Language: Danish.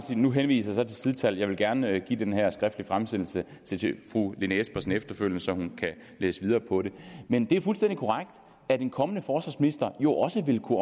jeg nu henviser til sidetallet jeg vil gerne give den her skriftlige fremsættelse til fru lene espersen efterfølgende så hun kan læse videre på det men det er fuldstændig korrekt at en kommende forsvarsminister jo også vil kunne